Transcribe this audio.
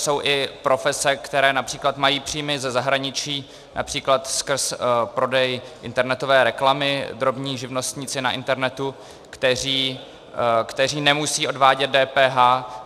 Jsou i profese, které například mají příjmy ze zahraničí, například skrz prodej internetové reklamy, drobní živnostníci na internetu, kteří nemusí odvádět DPH.